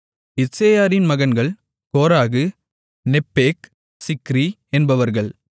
இத்சேயாரின் மகன்கள் Korah Nepheg Zichri என்பவர்கள்